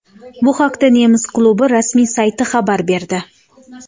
Bu haqda nemis klubi rasmiy sayti xabar berdi .